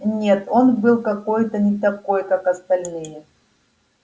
нет он был какой-то не такой как остальные